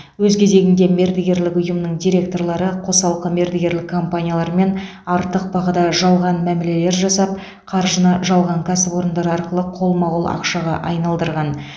өз кезегінде мердігерлік ұйымның директорлары қосалқы мердігерлік компаниялармен артық бағада жалған мәмілелер жасап қаржыны жалған кәсіпорындар арқылы қолма қол ақшаға айналдырған